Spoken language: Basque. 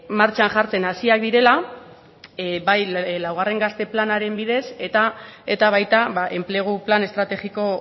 martxan jartzen hasiak direla bai laugarren gazte planaren bidez eta baita enplegu plan estrategiko